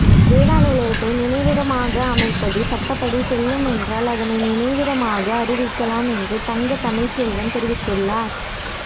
வேதா இல்லத்தை நினைவிடமாக அமைப்பது சட்டப்படி செல்லும் என்றால் அதனை நினைவிடமாக அறிவிக்கலாம் என்று தங்க தமிழ்ச்செல்வன் தெரிவித்துள்ளார்